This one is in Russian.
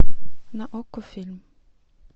на окко фильм